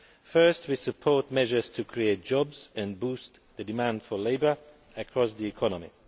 First, we support measures to create jobs and boost the demand for labour across the economy.